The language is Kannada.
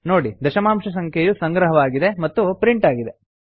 ನೋಡಿ ದಶಮಾಂಶ ಸಂಖ್ಯೆಯು ಸಂಗ್ರಹವಾಗಿದೆ ಹಾಗೂ ಪ್ರಿಂಟ್ ಆಗಿದೆ